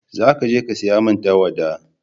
za ka je ka saya min tawada!